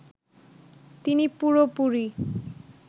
তিনি পুরোপুরি